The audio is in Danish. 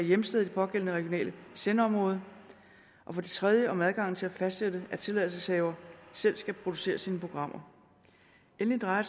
hjemsted i det pågældende regionale sendeområde for det tredje om adgangen til at fastsætte at tilladelseshaver selv skal producere sine programmer endelig drejer